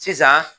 Sisan